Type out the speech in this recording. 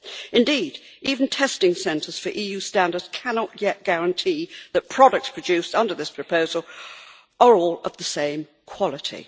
Indeed, even testing centres for EU standards cannot yet guarantee that products produced under this proposal are all of the same quality.